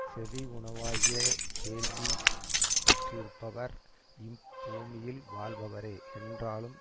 செவி உணவாகிய கேள்வி பெற்றிருப்பவர் இப்பூமியில் வாழ்பவரே என்றாலும்